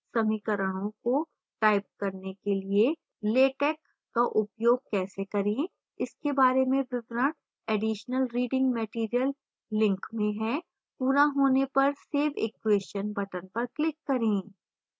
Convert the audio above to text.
समीकरणों को type करने के लिए latex का उपयोग कैसे करें इसके बारे में विवरण additional reading material link में हैं पूरा होने पर save equation button पर click करें